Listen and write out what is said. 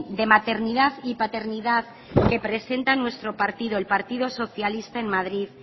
de maternidad y paternidad que presenta nuestro partido el partido socialista en madrid